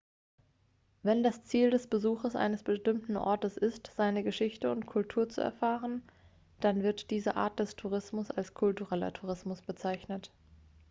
wenn das ziel des besuches eines bestimmten ortes ist seine geschichte und kultur zu erfahren dann wird diese art des tourismus als kultureller tourismus bezeichnet